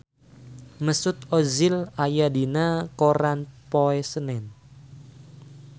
Mesut Ozil aya dina koran poe Senen